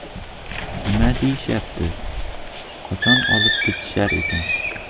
Nima deyishyapti, qachon olib ketishar ekan?